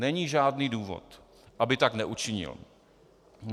Není žádný důvod, aby tak neučinil.